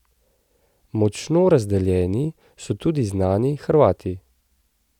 Močno razdeljeni so tudi znani Hrvati.